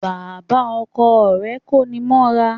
Bàbá Ọkọ rè kóni mọ́ra